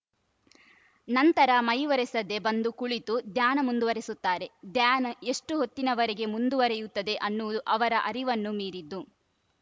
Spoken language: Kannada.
ನಂತರ ಮೈ ಒರೆಸದೇ ಬಂದು ಕುಳಿತು ಧ್ಯಾನ ಮುಂದುವರಿಸುತ್ತಾರೆ ಧ್ಯಾನ ಎಷ್ಟುಹೊತ್ತಿನವರೆಗೆ ಮುಂದುವರೆಯುತ್ತದೆ ಅನ್ನುವುದು ಅವರ ಅರಿವನ್ನೂ ಮೀರಿದ್ದು